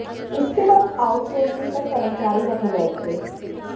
इसके बाद outsourcing पर कर्मचारी रखे गए थे